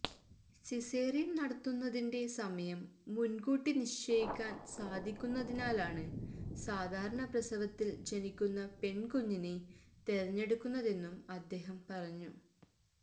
സിസേറിയന് നടത്തുന്നതിന്റെ സമയം മുന്കൂട്ടി നിശ്ചയിക്കാന് സാധിക്കുന്നതിനാലാണ് സാധാരണ പ്രസവത്തില് ജനിക്കുന്ന പെണ്കുഞ്ഞിനെ തെരഞ്ഞെടുക്കുന്നതെന്നും അദ്ദേഹം പറഞ്ഞു